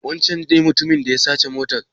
Wancen ne mutumin da ya sace motar?